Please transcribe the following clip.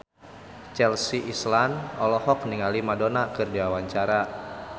Chelsea Islan olohok ningali Madonna keur diwawancara